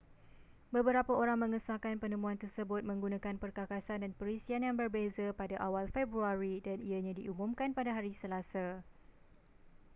beberapa orang mengesahkan penemuan tersebut menggunakan perkakasan dan perisian yang berbeza pada awal februari dan ianya diumumkan pada hari selasa